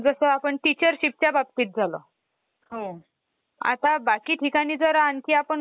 तर RAM, RAM है ना? म्हणजे संगणकाची तात्पुरती मेमरी असते.